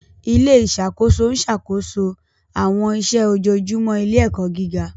Ilé ìṣàkóso ń ṣàkóso àwọn iṣẹ́ ojoojúmọ́ ilé-ẹ̀kọ́ gíga.